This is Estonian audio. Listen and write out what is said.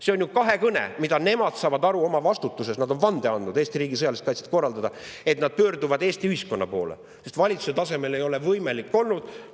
See on ju kahekõne, nemad saavad aru oma vastutusest, nad on andnud vande, et nad korraldavad Eesti riigi sõjalist kaitset, ja nad pöörduvad Eesti ühiskonna poole, sest valitsuse tasemel ei ole see võimalik olnud.